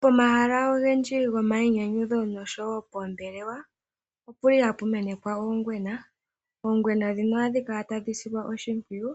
Pomahala ogendji gomayinyanyudho noshowo poombelewa, opu li hapu menekwa oongwena. Oongwena ndhino ohadhi kala tadhi silwa oshimpwiyu,